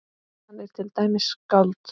Hann er til dæmis skáld.